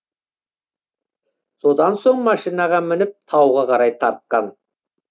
содан соң машинаға мініп тауға қарай тартқан